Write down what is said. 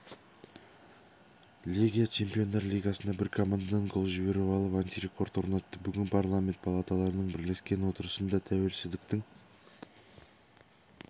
легия чемпиондар лигасында бір командадан гол жіберіп алып антирекорд орнатты бүгін парламент палаталарының бірлескен отырысында тәуелсіздіктің